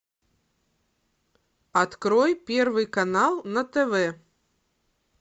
открой первый канал на тв